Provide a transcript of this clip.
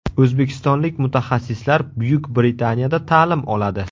O‘zbekistonlik mutaxassislar Buyuk Britaniyada ta’lim oladi.